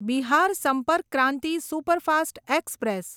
Bihar Sampark Kranti superfast express